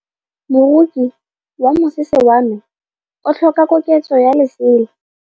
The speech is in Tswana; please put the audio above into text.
Moroki wa mosese wa me o tlhoka koketsô ya lesela.